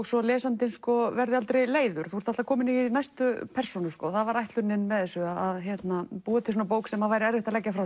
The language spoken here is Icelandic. svo lesandinn verði aldrei leiður þú ert alltaf kominn í næstu persónu það var ætlunin með þessu að búa til bók sem væri erfitt að leggja frá